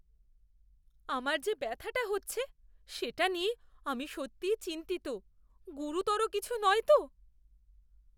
আমার যে ব্যথাটা হচ্ছে সেটা নিয়ে আমি সত্যিই চিন্তিত। গুরুতর কিছু নয় তো?